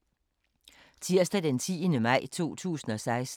Tirsdag d. 10. maj 2016